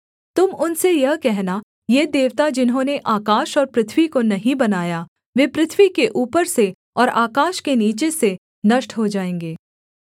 तुम उनसे यह कहना ये देवता जिन्होंने आकाश और पृथ्वी को नहीं बनाया वे पृथ्वी के ऊपर से और आकाश के नीचे से नष्ट हो जाएँगे